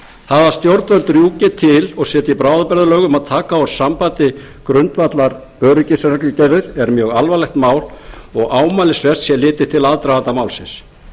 það að stjórnvöld rjúki til og setji bráðabirgðalaga m að taka úr sambandi grundvallaröryggisreglugerðir er mjög alvarlegt mál og ámælisvert sé litið til aðdraganda málsins